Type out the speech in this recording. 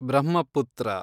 Brahmaputra